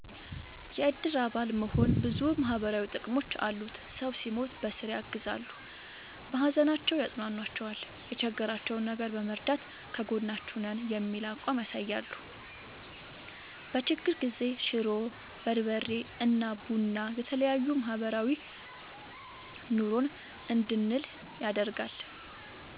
የእድር አባል መሆን ብዙ ማህበራዊ ጥቅሞች አሉት ሰው ሲሞት በስራ ያግዛሉ። በሀዘናቸው ያፅኗኗቸዋል የቸገራቸውን ነገር በመርዳት ከጎናችሁ ነን የሚል አቋም ያሳያሉ። በችግር ጊዜ ሽሮ፣ በርበሬ እና ቡና የተለያዬ ማህበራዊ ኑሮን እንድንል ያደርጋል።